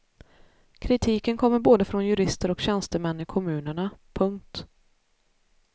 Kritiken kommer både från jurister och tjänstemän i kommunerna. punkt